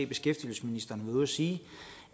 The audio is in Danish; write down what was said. beskæftigelsesministeren været ude og sige